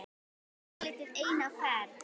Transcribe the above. Verið svolítið einn á ferð?